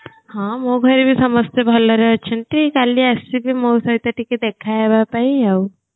ହଁ ମୋ ଭାଇ ବି ସମସ୍ତେ ଭଲରେ ଅଛନ୍ତି କାଲି ଆସିବୁ ମୋ ସହିତ ଟିକେ ଦେଖା ହେବାପାଇଁ ଆଉ